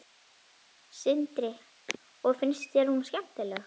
Sindri: Og finnst þér hún skemmtileg?